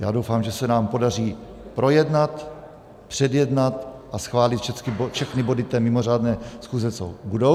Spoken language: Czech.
Já doufám, že se nám podaří projednat, předjednat a schválit všechny body té mimořádné schůze, co budou.